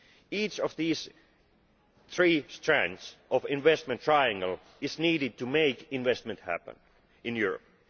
Each of these three strands of the investment triangle is needed to make investment happen in Europe.